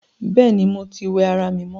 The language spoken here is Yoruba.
Bẹ́ẹ̀ni, mo tí wẹ ará mi mọ